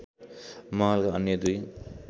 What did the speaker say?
महलका अन्‍य दुई